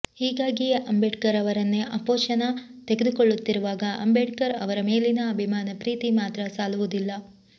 ಹೀಗಾಗಿಯೇ ಅಂಬೇಡ್ಕರ್ ಅವರನ್ನೇ ಆಪೋಶನ ತೆಗೆದುಕೊಳ್ಳುತ್ತಿರುವಾಗ ಅಂಬೇಡ್ಕರ್ ಅವರ ಮೇಲಿನ ಅಭಿಮಾನ ಪ್ರೀತಿ ಮಾತ್ರ ಸಾಲುವುದಿಲ್ಲ